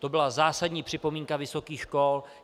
To byla zásadní připomínka vysokých škol.